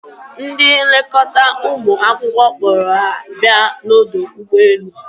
Ndị nlekọta ụmụ akwụkwọ kpọrọ ha bia n'ọdọ ụgbọelu.